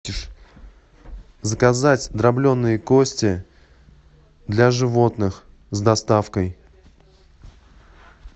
заказать дробленые кости для животных с доставкой